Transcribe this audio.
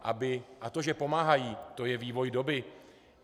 A to, že pomáhají, to je vývoj doby.